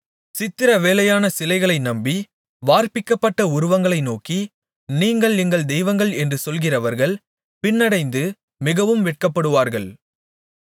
சித்திரவேலையான சிலைகளை நம்பி வார்ப்பிக்கப்பட்ட உருவங்களை நோக்கி நீங்கள் எங்கள் தெய்வங்கள் என்று சொல்கிறவர்கள் பின்னடைந்து மிகவும் வெட்கப்படுவார்கள்